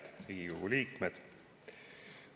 Head Riigikogu liikmed!